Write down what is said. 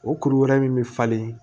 O kuru wɛrɛ min bɛ falen